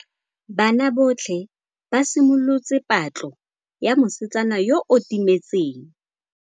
Banna botlhê ba simolotse patlô ya mosetsana yo o timetseng.